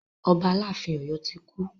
Ọba aláàfin Ọ̀yọ́ ti kú.